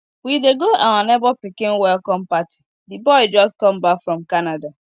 we dey go our neighbor pikin welcome party the boy just come back from canada